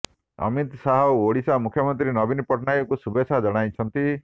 ଅମିତ ଶାହ ଓଡିଶା ମୁଖ୍ୟମନ୍ତ୍ରୀ ନବୀନ ପଟ୍ଟନାୟକଙ୍କୁ ଶୁଭେଚ୍ଛା ଜଣାଇଛନ୍ତି